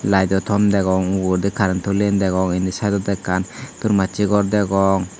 lighto tom degong ugurendi currentoli yan degong indi sideiondi ekkan ton macche gor degong.